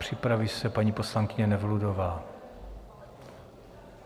Připraví se paní poslankyně Nevludová.